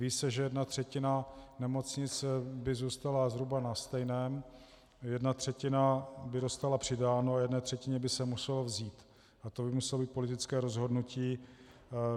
Ví se, že jedna třetina nemocnic by zůstala zhruba na stejném, jedna třetina by dostala přidáno a jedné třetině by se muselo vzít, a to by muselo být politické rozhodnutí.